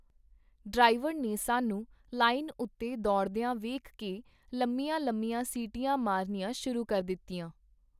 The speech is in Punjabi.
ਡਰਾਈਵਰ ਨੇ ਸਾਨੂੰ ਲਾਈਨ ਉਤੇ ਦੌੜਦੀਆਂ ਵੇਖ ਕੇ ਲੰਮੀਆਂ ਲੰਮੀਆਂ ਸੀਟੀਆਂ ਮਾਰਨੀਆਂ ਸੁ.ਰੂ ਕਰ ਦਿੱਤੀਆਂ.